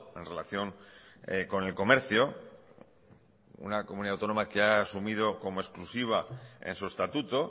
en relación con el comercio una comunidad autónoma que ha asumido como exclusiva en su estatuto